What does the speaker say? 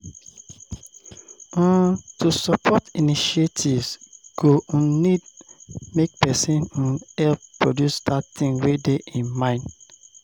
um To support initiatives go um need make persin um help produce that thing wey de im mind